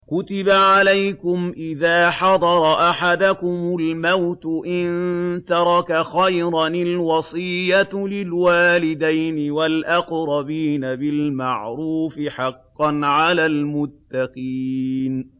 كُتِبَ عَلَيْكُمْ إِذَا حَضَرَ أَحَدَكُمُ الْمَوْتُ إِن تَرَكَ خَيْرًا الْوَصِيَّةُ لِلْوَالِدَيْنِ وَالْأَقْرَبِينَ بِالْمَعْرُوفِ ۖ حَقًّا عَلَى الْمُتَّقِينَ